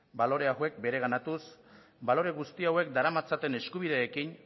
balore hauek bereganatuz balore guzti hauek daramatzaten eskubideekin